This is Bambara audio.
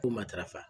Ko matarafa